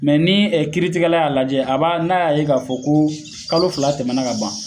Mɛ ni kiiritigɛla y'a lajɛ, a b'a n'a y'a ye k'a fɔ ko kalo fila tɛmɛna ka ban